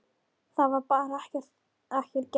Það var bara ekki gert.